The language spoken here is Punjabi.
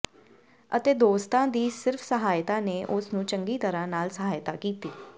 ਅਤੇ ਦੋਸਤਾਂ ਦੀ ਸਿਰਫ ਸਹਾਇਤਾ ਨੇ ਉਸ ਨੂੰ ਚੰਗੀ ਤਰ੍ਹਾਂ ਨਾਲ ਸਹਾਇਤਾ ਕੀਤੀ